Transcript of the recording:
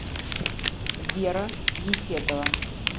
вера есетова